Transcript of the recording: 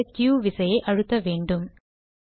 வெளியேற க்யு விசையை அழுத்த வேண்டும்